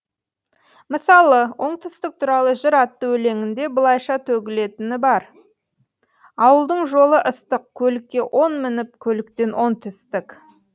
мысалы оңтүстік туралы жыр атты өлеңінде былайша төгілетіні бар ауылдың жолы ыстық көлікке он мініп көліктен он түстік